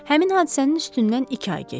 Həmin hadisənin üstündən iki ay keçdi.